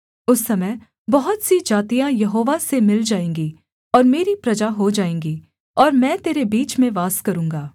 उस समय बहुत सी जातियाँ यहोवा से मिल जाएँगी और मेरी प्रजा हो जाएँगी और मैं तेरे बीच में वास करूँगा